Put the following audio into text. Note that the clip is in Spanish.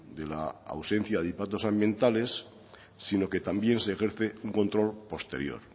de la ausencia de impactos ambientales sino que también se ejerce un control posterior